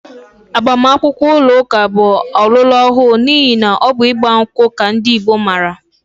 Agbamakwụkwọ ụlọụka bụ ọlọrọọhụụ n'ihi na ọ bụ ịgba nkwụ ka ndị Igbo maara